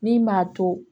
Min m'a to